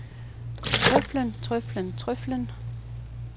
trøflen trøflen trøflen